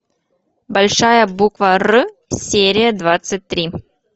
большая буква р серия двадцать три